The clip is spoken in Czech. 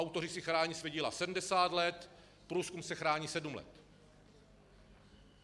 Autoři si chrání svá díla 70 let, průzkum se chrání sedm let.